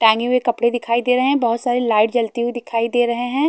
टांगे हुऐ कपड़े दिखाई दे रहे हैं बहोत सारे लाइट जलती हुए दिखाई दे रहे हैं।